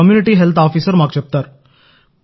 community health officer మాకు చెప్తారు